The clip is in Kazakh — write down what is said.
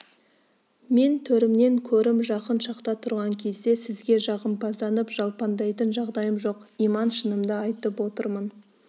мен төрімнен көрім жақын шақта тұрған кезде сізге жағымпазданып жалпаңдайтын жағдайым жоқ иман шынымды айтып отырмын